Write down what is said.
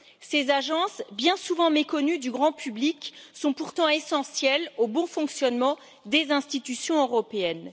Ces agences, bien souvent méconnues du grand public, sont pourtant essentielles au bon fonctionnement des institutions européennes.